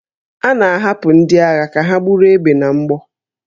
A na-ahapụ ndị agha ka ha buru egbe na mgbọ